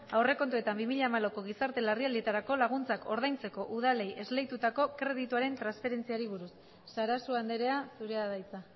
aurrekontuetan bi mila hamalauko gizarte larrialdietarako laguntzak ordaintzeko udalei esleitutako kredituaren transferentziari buruz sarasua andrea zurea da hitza